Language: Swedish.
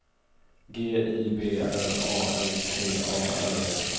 G I B R A L T A R